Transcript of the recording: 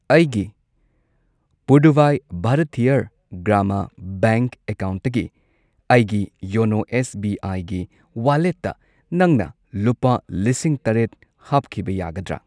ꯑꯩꯒꯤ ꯄꯨꯗꯨꯚꯥꯏ ꯚꯥꯔꯊꯤꯌꯔ ꯒ꯭ꯔꯥꯃꯥ ꯕꯦꯡꯛ ꯑꯦꯀꯥꯎꯟꯠꯇꯒꯤ ꯑꯩꯒꯤ ꯌꯣꯅꯣ ꯑꯦꯁ ꯕꯤ ꯑꯥꯏ ꯒꯤ ꯋꯥꯂꯦꯠꯇ ꯅꯪꯅ ꯂꯨꯄꯥ ꯂꯤꯁꯤꯡ ꯇꯔꯦꯠ ꯍꯥꯞꯈꯤꯕ ꯌꯥꯒꯗ꯭ꯔꯥ?